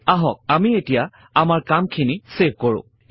আহক আমি এতিয়া আমাৰ কামখিনি ছেভ কৰো